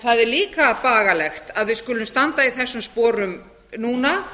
það er líka bagalegt að við skulum standa í þessum sporum núna